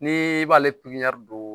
N'i b'ale pipiniyɛri don